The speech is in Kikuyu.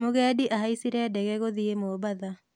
Mũgendi ahaicire ndege gũthiĩ Mombatha